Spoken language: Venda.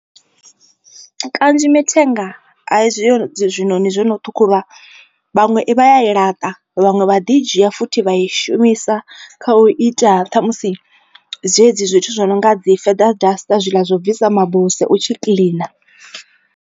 Kanzhi mithenga a i zwino dzi zwiṋoni zwono ṱhukhulwa vhaṅwe vha ya i laṱa vhaṅwe vha ḓi dzhia futhi vha i shumisa kha u ita ṱhamusi dzedzi zwithu zwi no nga dzi feather duster zwi ḽa zwo bvisa mabuse u tshi kiḽina.